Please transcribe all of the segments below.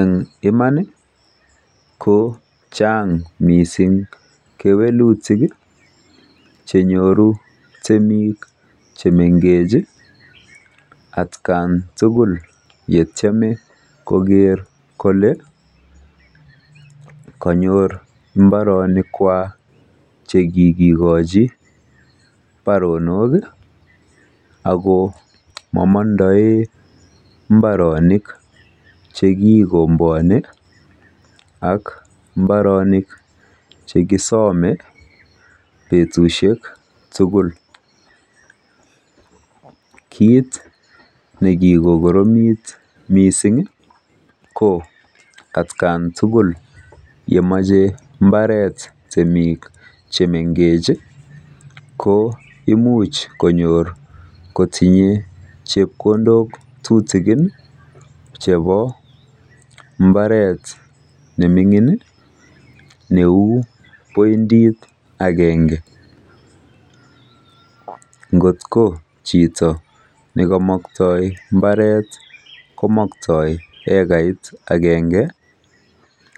En Imani kochang mising kewelutik chenyoru temik chemengech en atkan tugul yetieme koker kole kanyor mbarenik kwak chekikochi baronoki Ako mamondoen mbarenik chekikombuoni ak mbarenik chekisome betushek tugul kit nekikoromit misingi ko atkan tugul yemoche mbaret temik chemengechi ko imuch konyor kotinye chepkondok tutikini chebo mbaret nemingin neu pointit akenge ngotko chito nekomokto mbaret komokto ekarit akenge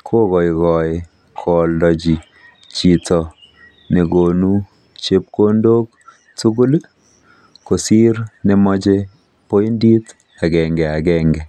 kokoikoi koaldechi chito nekonu chepkondok tugul kosir nemoche poindit agenge agenge